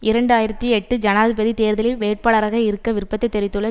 இரண்டு ஆயிரத்தி எட்டு ஜனாதிபதி தேர்தலில் வேட்பாளராக இருக்க விருப்பத்தை தெரிவித்துள்ள